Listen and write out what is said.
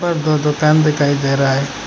और दो दुकान दिखाई दे रहा है।